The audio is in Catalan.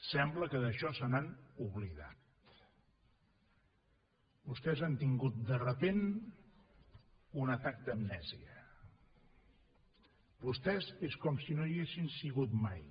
sembla que d’això se n’han oblidat vostès han tingut de cop i volta un atac d’amnèsia vostès és com si no hi haguessin sigut mai